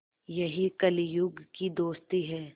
यही कलियुग की दोस्ती है